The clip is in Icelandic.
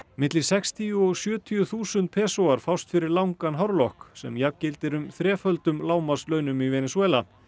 milli sextíu og sjötíu þúsund fást fyrir langan hárlokk sem jafngildir um þreföldum lágmarkslaunum í Venesúela